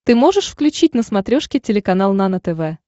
ты можешь включить на смотрешке телеканал нано тв